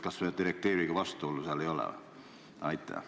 Kas seal direktiiviga vastuolu ei ole?